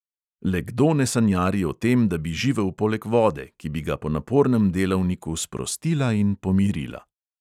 Le kdo ne sanjari o tem, da bi živel poleg vode, ki bi ga po napornem delavniku sprostila in pomirila?